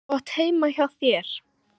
Þú átt heima heima hjá þér!